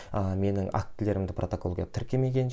ыыы менің актілерімді протоколға тіркемеген